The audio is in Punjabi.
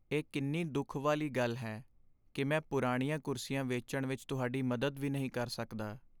ਇਹ ਕਿੰਨੀ ਦੁੱਖ ਵਾਲੀ ਗੱਲ ਹੈ ਕਿ ਮੈਂ ਪੁਰਾਣੀਆਂ ਕੁਰਸੀਆਂ ਵੇਚਣ ਵਿੱਚ ਤੁਹਾਡੀ ਮਦਦ ਵੀ ਨਹੀਂ ਕਰ ਸਕਦਾ।